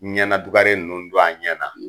Ɲɛna dugare ninnu don an ɲɛna